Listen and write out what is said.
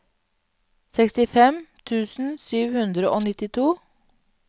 sekstifem tusen sju hundre og nittito